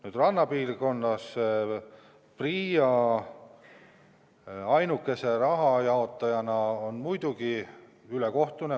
Nüüd, et rannapiirkonnas on PRIA ainuke raha jaotaja, see on muidugi ülekohtune.